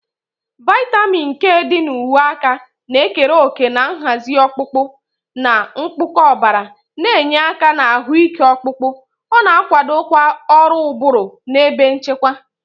Vitamin K dị na uwe aka na-ekere òkè na nhazi ọkpụkpụ na mkpụkọ ọbara, na-enye aka na ahụike ọkpụkpụ. Ọ na-akwadokwa ọrụ ụbụrụ na ebe nchekwa.